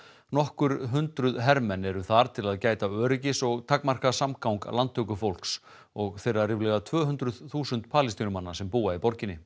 nokkur hundruð hermenn eru þar til að gæta öryggis og takmarka samgang og þeirra ríflega tvö hundruð þúsund Palestínumanna sem búa í borginni